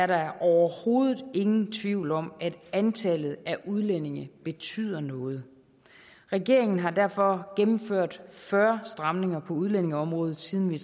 der overhovedet ingen tvivl om at antallet af udlændinge betyder noget regeringen har derfor gennemført fyrre stramninger på udlændingeområdet siden vi